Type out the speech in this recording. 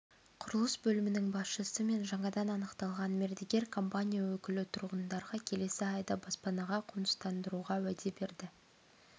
құрылыс бөлімінің басшысы мен жаңадан анықталған мердігер компания өкілі тұрғындарға келесі айда бапанаға қоныстандыруға уәде берді